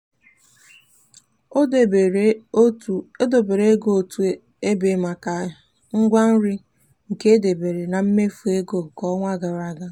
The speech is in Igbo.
o debere ego otu ebe maka ngwa nri ke dabeere na mmefu ego nke ọnwa gara aga.